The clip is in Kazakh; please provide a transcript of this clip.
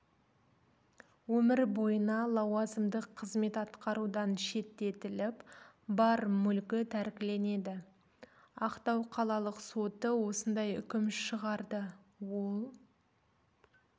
өмір бойына лауазымдық қызмет атқарудан шеттетіліп бар мүлкі тәркіленеді ақтау қалалық соты осындай үкім шығарды ол